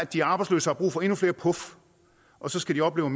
de arbejdsløse har brug for endnu flere puf og så skal de opleve